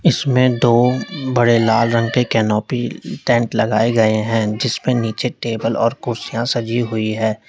इसमें दो बड़े लाल रंग के कैनेपी टेंट लगाए गए हैं जिस पे नीचे एक टेबल और कुर्सियां सजी हुई है।